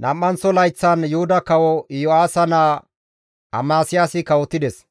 nam7anththo layththan Yuhuda kawo Iyo7aasa naa Amasiyaasi kawotides.